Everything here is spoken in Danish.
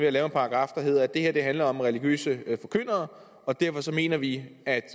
at lave en paragraf der hedder at det her handler om religiøse forkyndere og derfor mener vi at